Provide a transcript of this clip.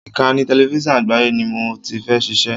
Ìkànnì tẹlẹfísọ̀n Àgbáyé ni mo ti fẹ́ ṣiṣẹ́.